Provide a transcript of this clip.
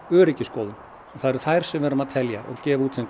öryggisskoðun og það eru þær sem við erum að telja og gefa út sem